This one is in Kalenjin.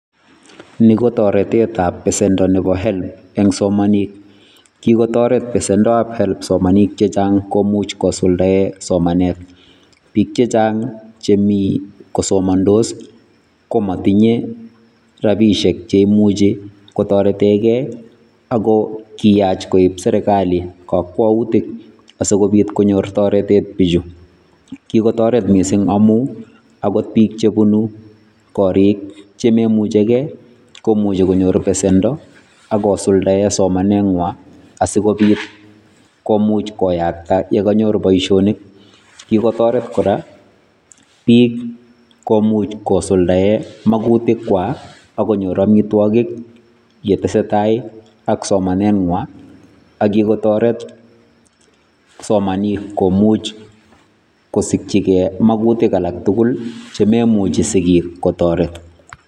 Nii ko toretetab besendo nebo help eng somanik, kikotoret nesendab help somanik chechang komuch kosuldaen somanet, biik chechang chemii kosomondos komotinye rabishek cheimuchi kotoretekee ak ko kiyach koib serikali kokwoutik asikobiit konyor toretet bichu, kikotoret mising amun akot biik chebunu korik chomoimuchekee komuche konyor besendo ak kosuldaen somanengwa asikobiit komuch koyakta yekonyor boishonik, kikotoret kora biik komuch kosuldaen mokutikwak ak konyor amitwokik yetesetai ak somanengwa ak yekotoret somanik komuch kosikyike mokutik alak tukul chemoimuchi sikiik kotoret.